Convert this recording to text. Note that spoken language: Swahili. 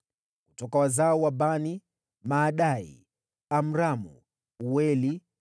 Kutoka wazao wa Bani: Maadai, Amramu, Ueli,